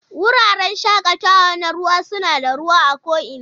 Wuraren shakatawa na ruwa suna da ruwa a ko'ina